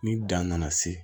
Ni dan nana se